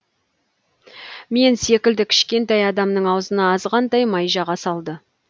мен секілді кішкентай адамның аузына азғантай май жаға салды